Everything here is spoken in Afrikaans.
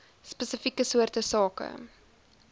spesifieke soorte sake